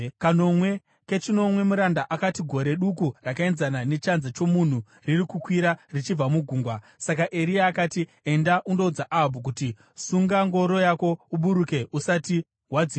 Kechinomwe muranda akati, “Gore duku rakaenzana nechanza chomunhu riri kukwira richibva mugungwa.” Saka Eria akati, “Enda undoudza Ahabhu kuti, ‘Sunga ngoro yako uburuke usati wadzivirirwa nemvura.’ ”